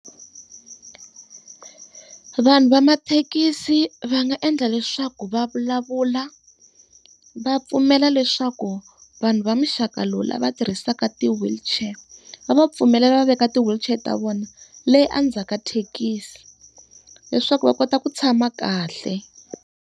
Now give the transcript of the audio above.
Vanhu va mathekisi va nga endla leswaku va vulavula, va pfumela leswaku vanhu va muxaka lowu lava tirhisaka ti-wheelchair va pfumelela va veka ti-wheelchair ta vona leyi endzhaku ka thekisi, leswaku va kota ku tshama kahle.